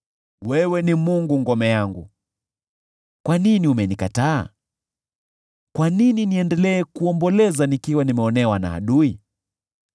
Wewe ni Mungu ngome yangu. Kwa nini umenikataa? Kwa nini niendelee kuomboleza, nikiwa nimeonewa na adui?